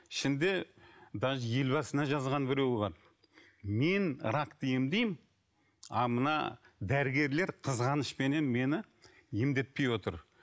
ішінде даже ел басына жазған біреу бар мен ракты емдеймін а мына дәрігерлер қызғанышпенен мені емдетпей отыр